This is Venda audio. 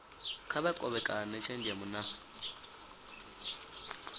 kha vha kovhekane tshenzhemo na